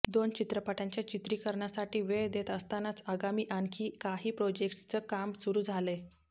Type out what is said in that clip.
दोन चित्रपटांच्या चित्रीकरणासाठी वेळ देत असतानाच आगामी आणखी काही प्रोजेक्ट्सचं कामही सुरू झालंय